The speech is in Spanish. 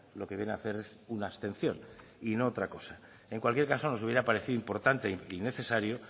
lo que viene a hacer es una abstención y no otra cosa en cualquier caso nos hubiera parecido importante y necesario